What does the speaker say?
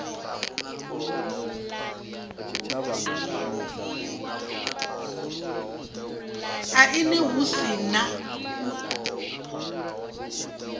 aini hu si na u